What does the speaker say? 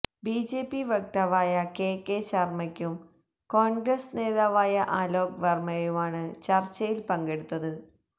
BJP വക്താവായ K K ശര്മ്മയും കോണ്ഗ്രസ് നേതാവായ അലോക് വര്മ്മയുമാണ് ചര്ച്ചയില് പങ്കെടുത്തത്